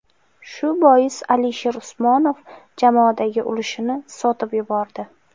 Shu boisdan Alisher Usmonov jamoadagi ulushini sotib yubordi.